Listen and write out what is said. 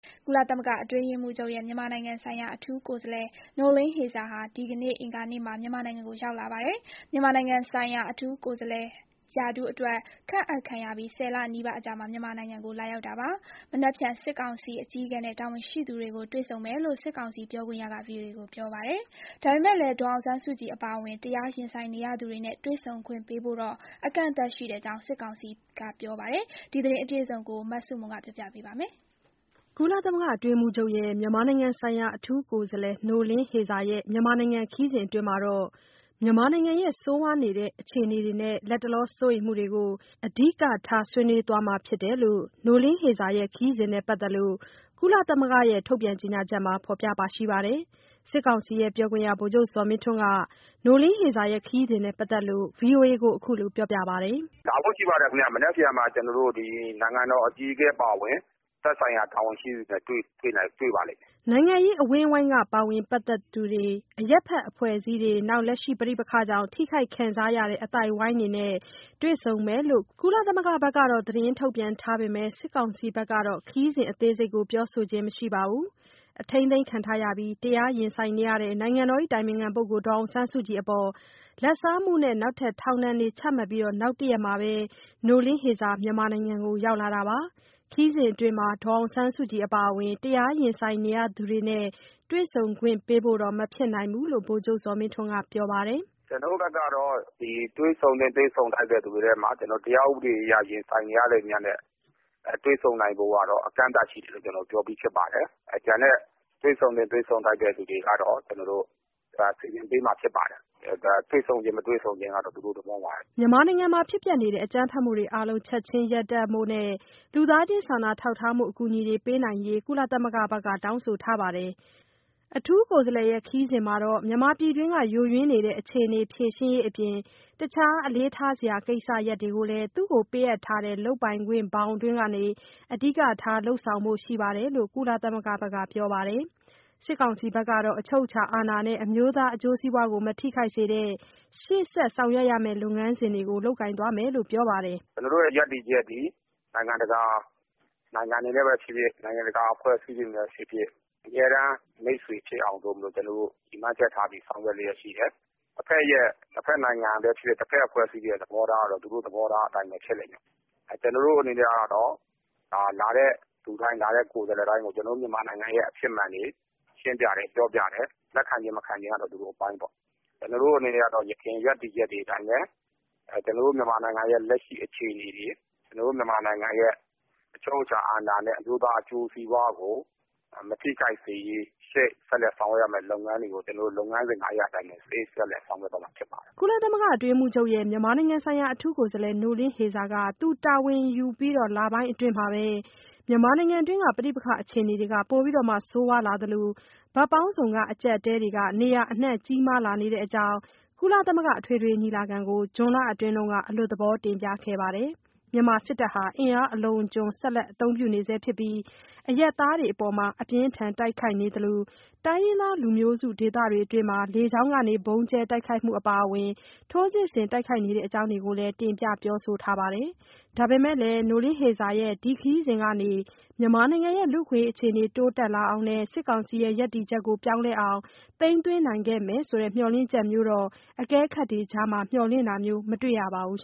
ကုလသမဂ္ဂအတွင်းရေးမှူးချုပ်ရဲ့ မြန်မာနိုင်ငံဆိုင်ရာ အထူးကိုယ်စားလှယ် Noeleen Heyzer ဟာ ဒီကနေ့ အင်္ဂါနေ့ မြန်မာနိုင်ငံကို ရောက်လာပါတယ်။ မြန်မာနိုင်ငံဆိုင်ရာ အထူးကိုယ်စားလှယ်ရာထူးခန့်အပ်ခံရပြီး ၁၀ လနီးပါးအကြာ မြန်မာနိုင်ငံကို လာရောက်တာဖြစ်ပြီး မနက်ဖြန် စစ်ကောင်စီအကြီးအကဲနဲ့ တာဝန် ရှိသူတွေကို တွေဆုံမယ်လို့ စစ်ကောင်စီပြောခွင့်ရက VOA ကို ပြောပါတယ်။ ဒါပေမယ့်လည်း ဒေါ်အောင်ဆန်းစုကြည်အပါအဝင် တရားရင်ဆိုင်နေရသူတွေနဲ့ တွေ့ဆုံခွင့်ပေးဖို့တော့ အကန့်အသတ်ရှိတဲ့အကြောင်း စစ်ကောင်စီ ပြောပါတယ်။ ဒီသတင်းအပြည့်အစုံကို မဆုမွန်က တင်ပြပေးထားပါတယ်။ မြန်မာနိုင်ငံခရီးစဉ်အတွင်းမှာ မြန်မာနိုင်ငံရဲ့ဆိုးရွားနေတဲ့အခြေအနေတွေနဲ့ လတ်တလော စိုးရိမ်မှုတွေကို အဓိကထားဆွေးနွေးသွားမှာဖြစ်တယ်လို့ Noeleen Heyzer ရဲ့ ခရီးစဉ်နဲ့ပတ်သက်လို့ ကုလသမဂ္ဂရဲ့ထုတ်ပြန်ချက်မှာဖော်ပြထားပါတယ်။ စစ်ကောင်စီပြောခွင့်ရ ဗိုလ်ချုပ်ဇော်မင်းထွန်းက ခရီးစဉ်နဲ့ ပတ်သက်လို့ ဗွီအိုအေကို ခုလိုပြောပြပါတယ်။ “မနက်ဖြန်မှာ ကျနော်တို့ နိုင်ငံတော်အကြီးအကဲအပါအဝင် သက်ဆိုင်ရာ တာဝန်ရှိသူတွေနဲ့တွေ့ပါလိမ့်မယ်။” နိုင်ငံရေးအဝန်းအဝိုင်းကပါဝင်ပတ်သက်သူတွေ၊ အရပ်ဘက် အဖွဲ့အစည်းတွေ၊ နောက် လက်ရှိပဋိပက္ခကြောင့် ထိခိုက်ခံစားရတဲ့အသိုက်အဝန်းတွေနဲ့တွေ့ဆုံမယ်လို့ ကုလသမဂ္ဂဘက်ကတော့ သတင်းထုတ်ပြန်ပေမယ့် စစ်ကောင်စီဘက်ကတော့ ခရီးစဉ်အသေးစိတ်ကို ပြောဆိုခြင်းမရှိပါဘူး။ အထိမ်းသိမ်းခံပြီး တရားရင်ဆိုင်နေရတဲ့ နိုင်ငံတော် အတိုင်ပင်ခံ ပုဂ္ဂိုလ် ဒေါ်အောင်ဆန်းစုကြည်အပေါ် လဘ်စားမှုနဲ့ နောက်ထပ် ထောင်ဒဏ်တွေ ချမှတ်ပြီး နောက်တရက်မှာ Noeleen Heyzer မြန်မာနိုင်ငံကို ရောက်လာတာပါ။ ခရီးစဉ်အတွင်းမှာ ဒေါ်အောင်ဆန်းစုကြည်အပါအဝင် တရားရင်ဆိုင်နေရသူတွေနဲ့ တွေ့ဆုံခွင်ပေးဖို့တော့ မဖြစ်နိုင်ဘူးလို့ ဗိုလ်ချုပ်ဇော်မင်းထွန်းက ပြောပါတယ်။ “ကျနော်တို့ဘက်ကတော့ တွေ့ဆုံသင့် တွေ့ဆုံထိုက်တဲ့သူတွေထဲမှာ တရားဥပဒေအရ ရင်ဆိုင်နေရတဲ့သူများနဲ့ တွေ့ဆုံနိုင်ဖို့ကတော့ အကန့်အသတ်ရှိတယ်လို့ ပြောပြီးဖြစ်ပါတယ်။ ကျန်တဲ့ တွေ့ဆုံသင့် တွေ့ဆုံထိုက်တဲ့သူတွေကတော့ စီစဉ်ပေးမှာဖြစ်ပါတယ်။ တွေ့ဆုံခြင်း မတွေ့ဆုံခြင်းကတော့ သူတို့ သဘောပါပဲဗျ။” မြန်မာနိုင်ငံမှာ အကြမ်းဖက်မှုအားလုံး ချက်ချင်းရပ်တန့်ဖို့နဲ့ လူသားချင်းစာနာ ထောက်ထားမှု အကူအညီတွေပေးနိုင်ရေး ကုလသမဂ္ဂဘက်က တောင်းဆိုထားပါတယ်။ အထူးကိုယ်စားလှယ်ရဲ့ခရီးစဉ်မှာ မြန်မာပြည်တွင်းက ယိုယွင်းနေတဲ့ အခြေအနေ ဖြေရှင်းရေးအပြင် အခြားအလေးထားစရာကိစ္စတွေကိုလည်း သူ့ကို ပေးအပ်ထားတဲ့ လုပ်ပိုင်ခွင့်ဘောင်အတွင်းကနေ အဓိကထားလုပ်ဆောင်ဖို့ ရှိတယ်လို့ ကုလသမဂ္ဂဘက်က ပြောဆိုပါတယ်။ စစ်ကောင်စီဘက်ကတော့ အချုပ်အခြာ အာဏာနဲ့ အမျိုးသားအကျိုးစီးပွားကို မထိခိုက် စေတဲ့ ရှေ့ဆောင်ရွက်ရမယ့် လုပ်ငန်းစဉ်တွေကို လုပ်ကိုင်သွားမယ်လို့ ပြောပါတယ်။ “ကျနော်တို့ရဲ့ရပ်တည်ချက်သည် နိုင်ငံတကာ.....ဖြစ်ဖြစ်၊ နိုင်ငံတကာအဖွဲ့အစည်းတွေနဲ့ပဲဖြစ်ဖြစ် အမြဲတမ်းမိတ်ဆွေဖြစ်အောင် ရည်မှန်းချက်ထားပြီး ဆောင်ရွက်နေတာရှိတယ်။ တဘက်နိုင်ငံတွေပဲဖြစ်ဖြစ်၊ တဘက်အဖွဲ့အစည်းတွေရဲ့သဘောထားကတော့ သူတို့သဘောထားအတိုင်းပဲဖြစ်လိမ့်မယ်။ ကျနော်တို့ အနေနဲ့ကတော့ လာတဲ့လူတိုင်း၊ လာတဲ့ကိုယ်စားလှယ်တိုင်းကို ကျနော်တို့မြန်မာနိုင်ငံရဲ့အဖြစ်မှန်တွေ ရှင်းပြတယ်။ ပြောပြတယ်။ လက်ခံခြင်း၊ မခံခြင်းကတော့ သူတို့အပိုင်းပေါ့။ ကျနော်တို့အနေနဲ့ကတော့ ယခင်ရပ်တည်ချက်တွေအတိုင်း ရပ်တည်သွားမယ်။ ကျနော်တို့မြန်မာနိုင်ငံရဲ့ လက်ရှိအခြေအနေတွေ၊ ကျနော်တို့မြန်မာနိုင်ငံရဲ့ အချုပ်အခြာ အာဏာနဲ့ အမျိုးသားအကျိုးစီးပွါးကိုမထိခိုက်စေရေး ဆက်လက်ဆောင်ရွက်ရမယ့်လုပ်ငန်းတွေကို ကျနော်တို့ လုပ်ငန်းစဉ်ငါးရပ်အတိုင်းပဲ ဆက်လက်ဆောင်ရွက်သွားမှာဖြစ်ပါတယ်။” ကုလသမဂ္ဂ အတွင်းရေးမှူးချုပ်ရဲ့ မြန်မာဆိုင်ရာ အထူးကိုယ်စားလှယ် Noeleen Heyzer က သူတာဝန်ယူပြီး လပိုင်းအတွင်းမှာပဲ မြန်မာနိုင်ငံအတွင်း ပဋိပက္ခအခြေအနေ ပိုပြီး ဆိုးဝါးလာသလို ဘက်ပေါင်းစုံ အကြပ်အတည်းတွေ နေရာအနှံ့ ကြီးမားလာတဲအ့ကြောင်း ကုလသမဂ္ဂ အထွေထွေညီလာခံကို ဇွန်လအတွင်း အလွတ် သဘော တင်ပြခဲ့ပါတယ်။ မြန်မာစစ်တပ်ဟာ အင်အား အလွန်အကျွံ ဆက်လက် အသုံးပြုနေဆဲ ဖြစ်ပြီး အရပ်သားတွေအပေါ်မှာ အပြင်းအထန်တိုက်ခိုက်နေသလို တိုင်းရင်းသားလူမျိုးစုဒေသတွေအတွင်း လေကြောင်းက ဗုံးကျဲတိုက်ခိုက်တာတွေအပါအဝင် ထိုးစစ်ဆင်တိုက်ခိုက်နေတဲ့အကြောင်းတွေကို တင်ပြပြောဆိုထားခဲ့ပါတယ်။ ဒါပေမယ့်လည်း ဒီခရီးစဉ်ကနေ မြန်မာနိုင်ငံရဲ့လူ့အခွင့်အရေးအခြေအနေ တိုးတက်လာအောင်နဲ့ စစ်ကောင်စီရဲ့ ရပ်တည်ချက်ကို ပြောင်းလဲအောင် သိမ်းသွင်းနိုင်မယ်ဆိုတဲ့ မျှော်လင့်ချက်မျိုးတော့ အကဲခတ်တွေကြားမှာ မျှော်လင့်ထားတာမျိုး မတွေ့ရပါဘူး